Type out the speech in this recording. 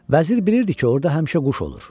Vəzir bilirdi ki, orda həmişə quş olur.